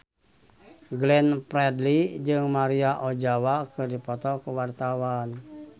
Glenn Fredly jeung Maria Ozawa keur dipoto ku wartawan